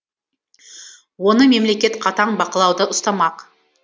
оны мемлекет қатаң бақылауда ұстамақ